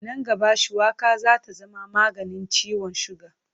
Nan gaba, shuwaka za ta zama maganin ciwon siga.